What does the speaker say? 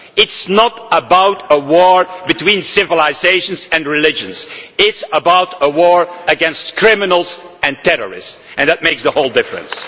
This is not about a war between civilisations and religions it is about a war against criminals and terrorists, and that makes all the difference.